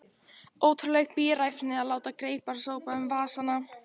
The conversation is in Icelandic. Ótrúleg bíræfni að láta greipar sópa um vasana.